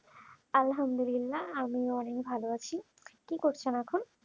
আলহামদুলিল্লাহ আমিও ভাল আছি কি করছেন এখন